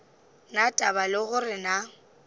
na taba le gore na